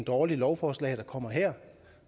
dårligt lovforslag der kommer her